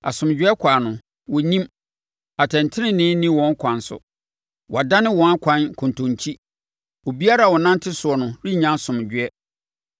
Asomdwoeɛ kwan no, wɔnnim; atɛntenenee nni wɔn akwan so. Wɔadane wɔn akwan nkontonkyi. Obiara a ɔnante soɔ no rennya asomdwoeɛ.